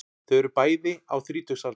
Þau eru bæði á þrítugsaldri